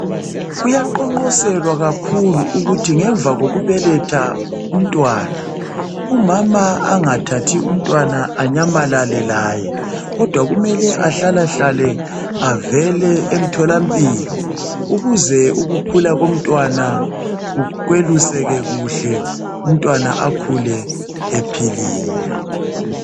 Kuyaqonqoselwa kakhulu ukuthi ngemva kokubeletha umntwana umama engathathi umntwana anyamalale laye kodwa kumele ahlala hlale avele emtholampilo ukuze ukukhula komntwana kweluseke kuhle umntwana akhule ephilile.